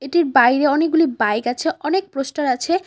এটির বাইরে অনেকগুলি বাইক আছে অনেক প্রস্টার আছে।